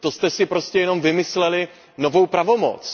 To jste si prostě jenom vymysleli novou pravomoc.